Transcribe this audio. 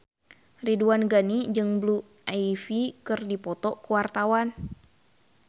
Ridwan Ghani jeung Blue Ivy keur dipoto ku wartawan